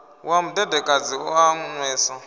wa mudedekadzi u a nwesa